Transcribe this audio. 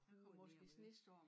Der var måske snestorm